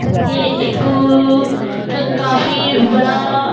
यह एक उ काफी बड़ा --